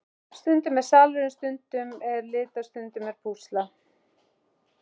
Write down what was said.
Stundum er salurinn, stundum er lita, stundum er púsla.